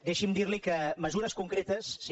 deixi’m dir li que mesures concretes sí